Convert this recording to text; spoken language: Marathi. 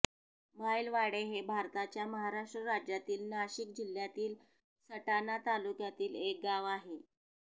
माईलवाडे हे भारताच्या महाराष्ट्र राज्यातील नाशिक जिल्ह्यातील सटाणा तालुक्यातील एक गाव आहे